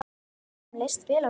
Honum leist vel á Skúla.